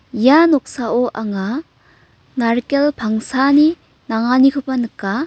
ia noksao anga narikel pangsani nanganikoba nika.